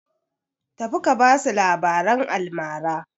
Tafi ka ba su labaran almara!